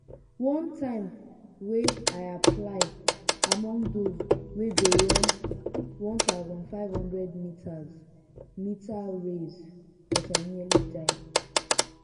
one time wey i apply among those wey go run 1500 meters meters race but i nearly die.